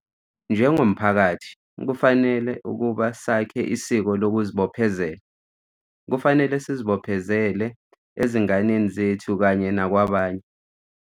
Njengomphakathi, kufanele ukuba sakhe isiko lokuzibophezela. Kufanele sizibophezele, ezinganeni zethu kanye nakwabanye.